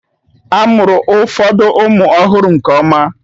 A mụrụ ụfọdụ ụmụ ọhụrụ nke ọma